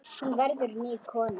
Hún verður ný kona.